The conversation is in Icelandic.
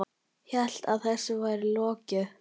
Hélt að þessu væri lokið.